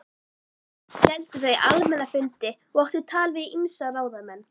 Héldu þau almenna fundi og áttu tal við ýmsa ráðamenn.